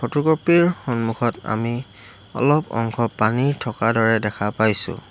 Photocopy ৰ সন্মুখত আমি অলপ অংশ পানী থকা দৰে দেখা পাইছোঁ।